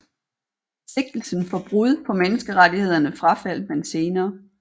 Sigtelsen for brud på menneskerettighederne frafaldt man senere